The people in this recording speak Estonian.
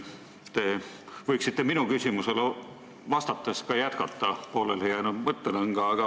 Te võiksite minu küsimusele vastates ka jätkata pooleli jäänud mõttelõnga.